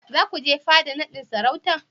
Za ku je fada naɗin sarautar?